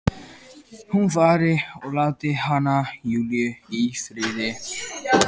Hún fari og láti hana, Júlíu, í friði.